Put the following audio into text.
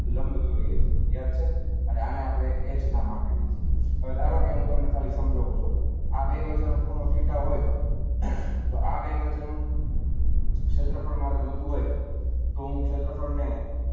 લંબ દોરીએ છીએ યાદ છે આને આપણે એચ નામ આપી દઈએ છીએ. હવે ધારો કે, હું તમને ખાલી સમજાવું છું. આ બે વચ્ચેનો ખૂણો થીટા હોય, તો આ બે વચ્ચેનું ક્ષેત્રફળ મારે જોઈતું હોય. તો હું ક્ષેત્રફળને,